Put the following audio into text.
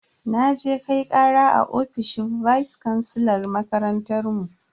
Naje Kai kara a ofishin vice kansilan makarantar mu.